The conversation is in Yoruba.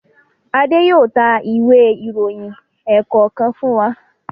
Ade yóò tá Ìwé ìròyìn ẹ̀ẹ̀kọ̀kan fún wá.